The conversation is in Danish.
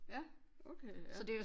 Ja okoay ja